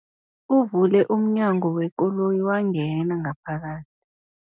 Uvule umnyango wekoloyi wangena ngaphakathi.